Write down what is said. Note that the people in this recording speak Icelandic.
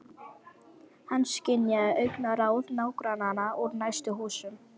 Hann skynjaði augnaráð nágrannanna úr næstu húsum.